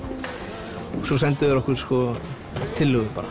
svo sendu þeir okkur tillögur bara